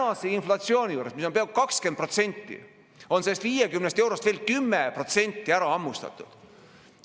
Tänase inflatsiooni juures, mis on peaaegu 20%, on sellest 50 eurost veel 10% ära hammustatud.